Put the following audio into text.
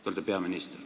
Te olete peaminister.